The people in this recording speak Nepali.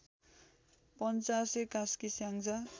पञ्चासे कास्की स्याङ्जा